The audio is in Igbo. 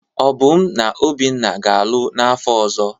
Obum na Obinna ga-alụ n'afọ ọzọ.